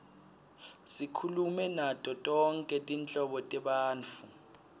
sikhulume nato tonkhe tinhlobo tebantfu